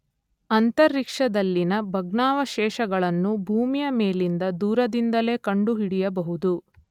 ಅಂತರಿಕ್ಷದಲ್ಲಿನ ಭಗ್ನಾವಶೇಷಗಳನ್ನು ಭೂಮಿಯ ಮೇಲಿನಿಂದ ದೂರದಿಂದಲೇ ಕಂಡುಹಿಡಿಯಬಹುದು.